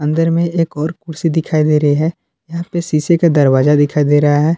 इधर में एक और कुर्सी दिखाई दे रही है। यहाँ पे शीशे का दरवाजा दिखाई दे रहा है।